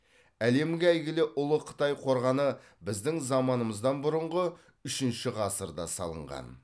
әлемге әйгілі ұлы қытай қорғаны біздің заманымыздан бұрынғы үшінші ғасырда салынған